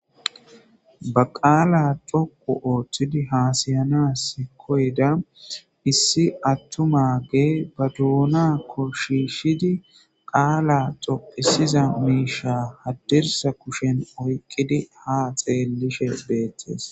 Ba qaala coqu ooththidi haasayana si koyda issi attumage ba duunakko shishidi qaala xophisiza miisha haddirsa kushen oyqqidi ha xeellishe beettees.